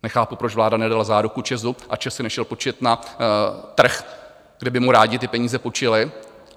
Nechápu, proč vláda nedala záruku ČEZu a ČEZ si nešel půjčit na trh, kde by mu rádi ty peníze půjčili.